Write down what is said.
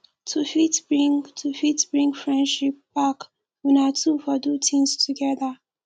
to fit bring to fit bring friendship back una two for do things together